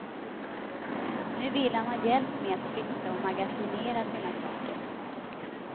Nu vill han ha hjälp med att flytta och magasinera sina saker.